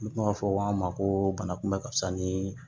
N kuma fɔ an ma ko banakunbɛ ka wusa nii